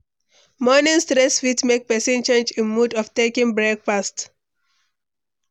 Morning stress fit make pesin change im mood of taking breakfast.